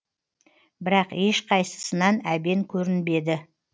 бірақ еш қайсысынан әбен көрінбеді